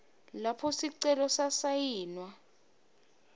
lapho sicelo sasayinwa